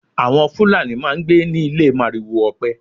Àwọn Fulani máá ń gbé ní ilé màrìwò ọpẹ